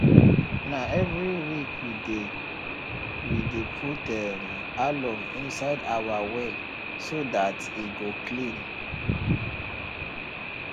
na every week we dey we dey put um alum inside our well so dat e go clean